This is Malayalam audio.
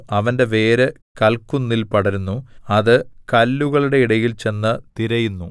അവന്റെ വേര് കല്ക്കുന്നിൽ പടരുന്നു അത് കല്ലുകളുടെയിടയിൽ ചെന്ന് തിരയുന്നു